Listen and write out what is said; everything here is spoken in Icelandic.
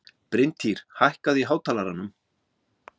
Bryntýr, hækkaðu í hátalaranum.